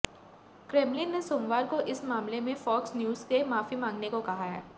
Kremlin ने सोमवार को इस मामले में फॉक्स न्यूज से माफी मांगने को कहा है